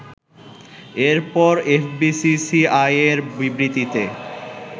এরপর এফবিসিসিআইয়ের বিবৃতিতে